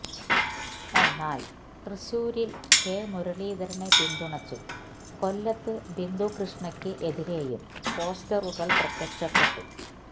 എന്നാൽ തൃശൂരില് കെ മുരളീധരനെ പിന്തുണച്ചും കൊല്ലത്ത് ബിന്ദു കൃഷ്ണയ്ക്ക് എതിരെയും പോസ്റ്ററുകള് പ്രത്യക്ഷപ്പെട്ടു